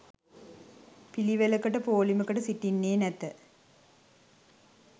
පිළිවෙළකට පෝලිමකට සිටින්නේ නැත